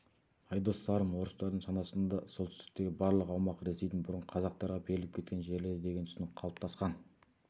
айдос сарым орыстардың санасында солтүстіктегі барлық аумақ ресейдің бұрын қазақтарға беріліп кеткен жерлері деген түсінік қалыаптасқан